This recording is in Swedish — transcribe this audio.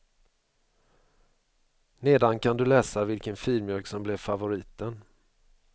Nedan kan du läsa vilken filmjölk som blev favoriten.